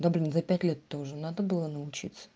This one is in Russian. да блин за пять лет то уже надо было научиться